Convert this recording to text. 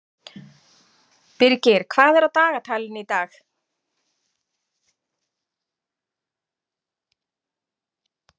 Birgir, hvað er á dagatalinu í dag?